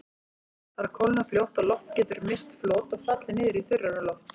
Þar kólnar fljótt og loft getur misst flot og fallið niður í þurrara loft.